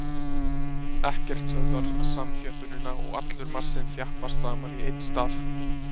Ekkert stöðvar samþjöppunina og allur massinn þjappast saman í einn stað.